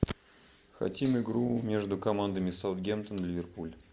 хотим игру между командами саутгемптон ливерпуль